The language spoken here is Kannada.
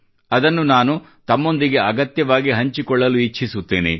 ಅದನ್ನು ನಾನು ತಮ್ಮೊಂದಿಗೆ ಅಗತ್ಯವಾಗಿ ಹಂಚಿಕೊಳ್ಳಲು ಇಚ್ಛಿಸುತ್ತೇನೆ